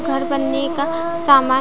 घर बनने का अ सामान--